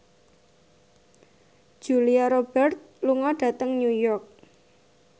Julia Robert lunga dhateng New York